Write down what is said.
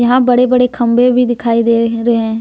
यहाँ बड़े बड़े खंबे भी दिखाई दे रहे हैं।